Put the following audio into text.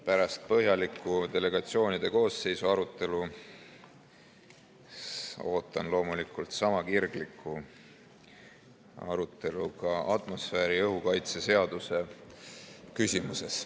Pärast põhjalikku delegatsioonide koosseisu arutelu ootan loomulikult sama kirglikku arutelu ka atmosfääriõhu kaitse seaduse küsimuses.